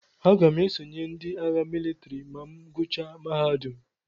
Aga m esonye ndị agha mịlịtrị ma m gụchaa mahadum.